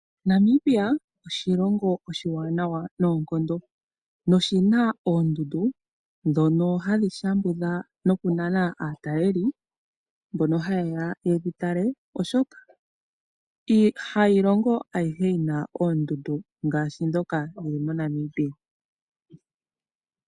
Namibia oshilongo oshiwanawa noonkondo noshi na oondundu ndhono hadhi shambudha nokunana aatalelipo mbono haye ya yedhi tale oshoka ha yilongo ayihe yi na oondundu ngaashi ndhoka dhi li moNamibia.